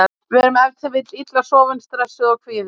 Við erum ef til vill illa sofin, stressuð og kvíðin.